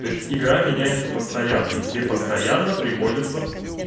то есть игра меняется постоянно и тебе постоянно приходится